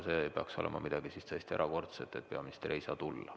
See peaks olema siis midagi täiesti erakordset, et peaminister ei saa tulla.